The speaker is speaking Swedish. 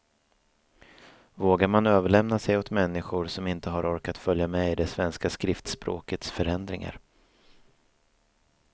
Vågar man överlämna sig åt människor som inte har har orkat följa med i det svenska skriftspråkets förändringar.